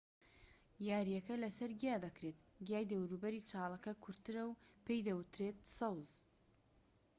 یاریەکە لەسەر گیا دەکرێت گیای دەوروبەری چاڵەکە کورتترە و پێی دەوترێت سەوز